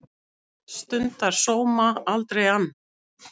Stundar sóma, aldrei ann